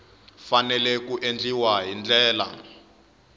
fanele ku endliwa hi ndlela